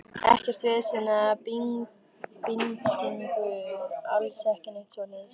Ekkert vesen eða bindingu, alls ekki neitt svoleiðis.